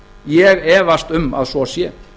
ég efast um að svo sé